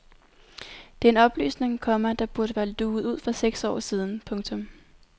Det er en oplysning, komma der burde være luget ud for seks år siden. punktum